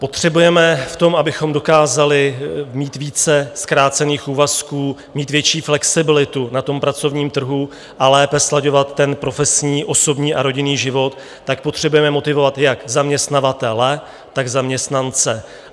Potřebujeme v tom, abychom dokázali mít více zkrácených úvazků, mít větší flexibilitu na tom pracovním trhu a lépe slaďovat ten profesní, osobní a rodinný život, tak potřebujeme motivovat jak zaměstnavatele, tak zaměstnance.